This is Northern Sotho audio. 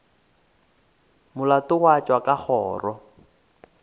molato wa tšwa ka kgoro